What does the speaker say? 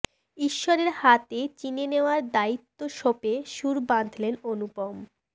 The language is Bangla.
ঈশ্বরের হাতে চিনে নেওয়ার দায়িত্ব সঁপে সুর বাঁধলেন অনুপম